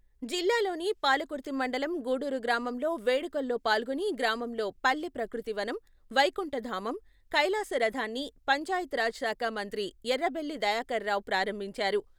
జిల్లాలోని పాలకుర్తి మండలం గూడూరు గ్రామంలో వేడుకల్లో పాల్గొని గ్రామంలో పల్లె ప్రకృతి వనం, వైకుంఠ ధామం, కైలాస రథాన్ని పంచాయత్ రాజ్ శాఖ మంత్రి ఎర్రబెల్లి దయాకరరావు ప్రారంభించారు.